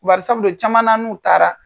Bari sabu u ye caman lamɛn, u taara.